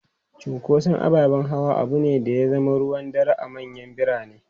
Cunkoson ababen hawa abu ne da ya zama ruwan dare a manyan birane.